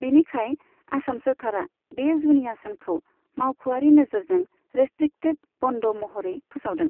बिनिखाय आसाम सोरखारा बे जुनिया सानखौ मावख'आरि नोजोरजों रेस्ट्रिक्टेड बन्द महरै फोसावदों।